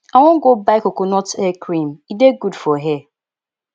i wan go buy coconut hair cream e dey good for hair